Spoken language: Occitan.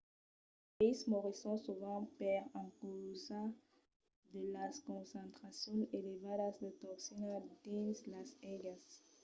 los peisses morisson sovent per encausa de las concentracions elevadas de toxina dins las aigas